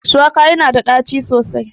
Shuwaka yana da ɗaci sosai